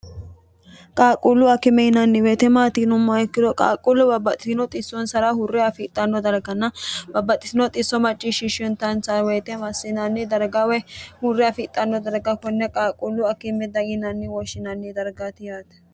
qaaqquullu akime yinanni weyite maatiinumma ikkino qaaqquullu babbaxitino xissonsara hurre afidhanno dargana babbaxxitino xisso macciishshishshantanonsa woyite massinanni darga woy hurre afidhanno darga konne qaaqquullu akimmi yinanni wooshshinanni dargaati yaate